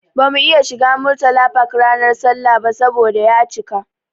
Bamu iya shiga Murtala Park ranar sallah ba saboda ya cika.